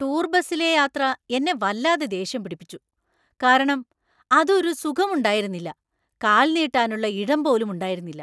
Tour ബസിലെ യാത്ര എന്നെ വല്ലാതെ ദേഷ്യം പിടിപ്പിച്ചു , കാരണം അത് ഒരു സുഖമുണ്ടായിരുന്നില്ല, കാല്‍ നീട്ടാനുള്ള ഇടം പോലും ഉണ്ടായിരുന്നില്ല.